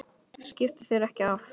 Skiptu þér ekki af því.